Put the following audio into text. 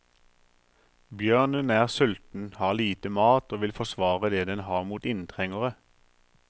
Bjørnen er sulten, har lite mat og vil forsvare det den har mot inntrengere.